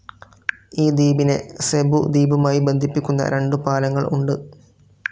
ഈ ദ്വീപിനെ സെബു ദ്വീപുമായി ബന്ധിപ്പിക്കുന്ന രണ്ടു പാലങ്ങൾ ഉണ്ട്.